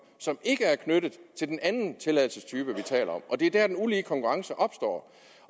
som ikke er knyttet til den anden tilladelsestype vi taler om det er der den ulige konkurrence opstår